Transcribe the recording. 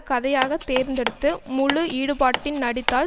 கதையாக தேர்ந்தெடுத்து முழு ஈடுபாட்டின் நடித்தால்